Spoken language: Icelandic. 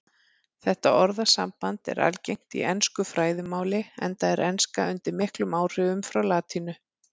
Þetta orðasamband er algengt í ensku fræðimáli enda er enska undir miklum áhrifum frá latínu.